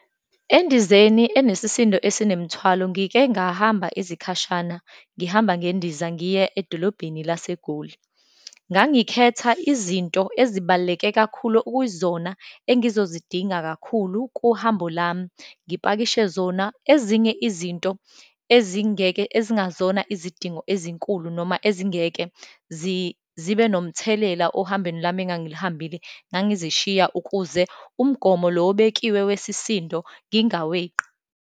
Endizeni enesisindo esinemthwalo ngike ngahamba izikhashana, ngihamba ngendiza, ngiye edolobheni laseGoli. Ngangikhetha izinto ezibaluleke kakhulu, okuyizona engizozidinga kakhulu kuhambo lami, ngipakishe zona. Ezinye izinto ezingeke, ezingazona izidingo ezinkulu, noma ezingeke zibe nomthelela ohambweni lami engangilihambile, ngangizishiya ukuze umgomo lo obekiwe wesisindo ngingaweqi.